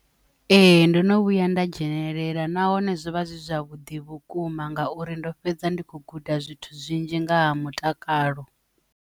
Ee, ndo no vhuya nda dzhenelela nahone zwo vha zwi zwavhuḓi vhukuma ngauri ndo fhedza ndi khou guda zwithu zwinzhi nga ha mutakalo.